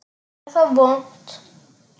Er það vont?